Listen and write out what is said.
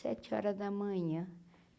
Sete horas da manhã.